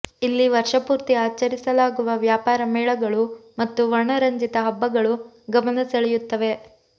ಇಲ್ಲಿ ವರ್ಷಪೂರ್ತಿ ಆಚರಿಸಲಾಗುವ ವ್ಯಾಪಾರ ಮೇಳಗಳು ಮತ್ತು ವರ್ಣರಂಜಿತ ಹಬ್ಬಗಳು ಗಮನ ಸೆಳೆಯುತ್ತವೆ